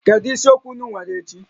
Kedu isiokwu ụnụ nwere echi?